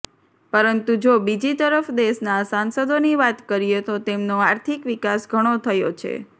પરંતુ જો બીજી તરફ દેશનાં સાંસદોની વાત કરીએ તો તેમનો આર્થિક વિકાસ ઘણો થયો છે